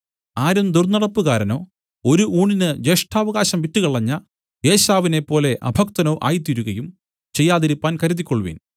ആരും ദുർന്നടപ്പുകാരനോ ഒരു ഊണിന് ജ്യേഷ്ഠാവകാശം വിറ്റുകളഞ്ഞ ഏശാവിനേപ്പോലെ അഭക്തനോ ആയിത്തീരുകയും ചെയ്യാതിരിപ്പാൻ കരുതിക്കൊൾവിൻ